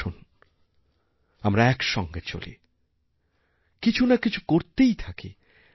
আসুন আমরা একসঙ্গে চলি কিছু না কিছু করে চলি